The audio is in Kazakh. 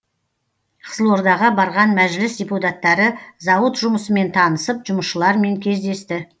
қызылордаға барған мәжіліс депутаттары зауыт жұмысымен танысып жұмысшылармен кездесті